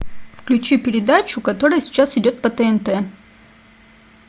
включи передачу которая сейчас идет по тнт